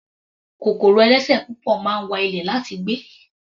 Kòkòrò ẹlẹ́sẹ̀ púpọ̀ máa ń wa ilẹ̀ láti gbé.